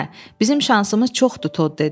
Hə, bizim şansımız çoxdur, Tod dedi.